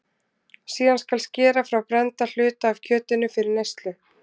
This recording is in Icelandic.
síðan skal skera frá brennda hluta af kjötinu fyrir neyslu